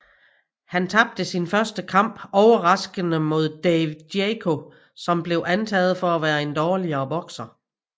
Han tabte sin første kamp overraskende mod Dave Jaco som blev antaget for at være en dårligere bokser